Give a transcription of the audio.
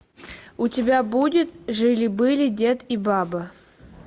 у тебя будет жили были дед и баба